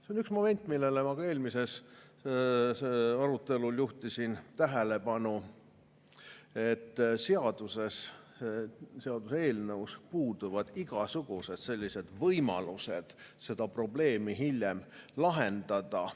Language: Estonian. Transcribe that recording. " See on üks moment, millele ma ka eelmise arutelu ajal juhtisin tähelepanu, et seaduses, seaduseelnõus puuduvad igasugused võimalused seda probleemi hiljem lahendada.